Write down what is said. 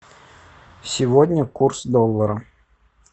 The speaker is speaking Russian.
сегодня курс доллара